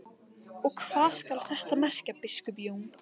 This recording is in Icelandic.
Og hvað skal þetta merkja, biskup Jón?